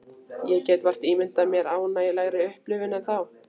Ég get vart ímyndað mér ánægjulegri upplifun en þá.